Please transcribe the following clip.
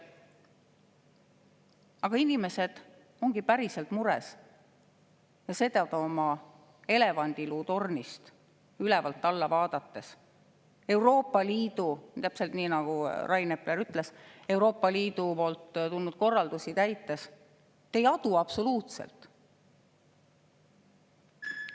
Aga inimesed ongi päriselt mures ja seda te oma elevandiluutornist ülevalt alla vaadates, täpselt nii nagu Rain Epler ütles, Euroopa Liidust tulnud korraldusi täites ei adu absoluutselt.